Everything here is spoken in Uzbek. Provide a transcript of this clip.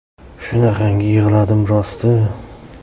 Shunaqangi yig‘ladim rosti.